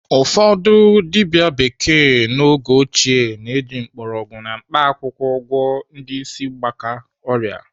Ụfọdụ dibịa bekee n'oge ochie na-eji mgbọrọgwụ na mkpaakwụkwọ agwọ ndị ịsị mgbaka ọrịa.